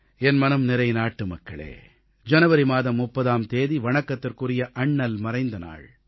என் மனம் நிறைந்த நாட்டுமக்களே ஜனவரி மாதம் 30ஆம் தேதி வணக்கத்துக்குரிய அண்ணல் மறைந்த நாள்